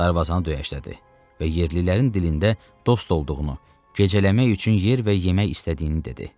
Darvazanı döyəclədi və yerlilərin dilində dost olduğunu, gecələmək üçün yer və yemək istədiyini dedi.